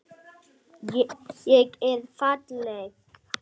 Ég er falleg.